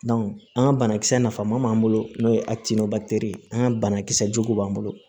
an ka banakisɛ nafama b'an bolo n'o ye ye an ka banakisɛ jugu b'an bolo